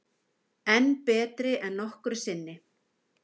Enn betri en nokkru sinni